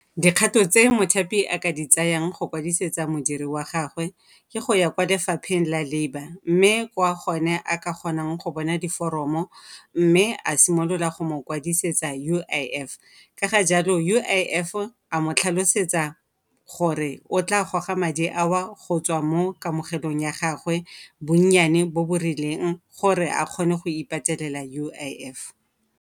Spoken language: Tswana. Dikgato tse mothapi a ka di tsayang go kwadisetsa modiri wa gagwe ke go ya kwa lefapheng la labour mme kwa gone a ka kgonang go bona diforomo mme a simolola go mo kwadisetsa U_I_F, ka ga jalo U_I_F a mo tlhalosetsa gore o tla goga madi ao go tswa mo kamogelong ya gagwe bonnyane bo bo rileng gore a kgone go ipatelela U_I_F.